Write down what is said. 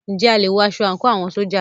Ǹjẹ́ a lè wọ aṣọ àńkò àwọn ṣójà?